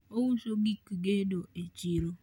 ouso gik gedo e chiro